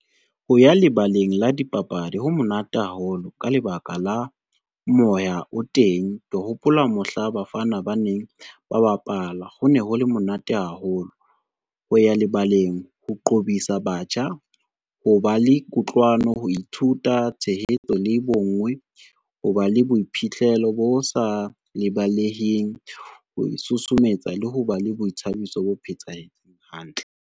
Ho ya lebaleng la dipapadi, ho monate haholo ka lebaka la moya o teng. Ke hopola mohla bafana ba neng ba bapala ho ne hole monate haholo. Ho ya lebaleng ho qobisa batjha ho ba le kutlwano, ho ithuta tshehetso le bonngwe, ho ba le boiphihlelo bo sa lebaleheng, ho isusumetsa le ho ba le boithabiso bo phethahetseng hantle.